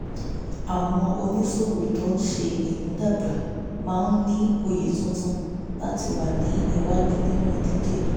àwọn oníṣòwò tó ń ṣe ìmúdàgba máa ń ní òye tuntun láti wà ní iwájú nínú ìdíje